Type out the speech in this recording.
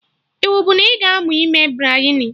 Iwu bụ na ị ga-aṅụ ime Biryani